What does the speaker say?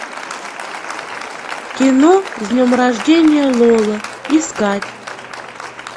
кино с днем рождения лола искать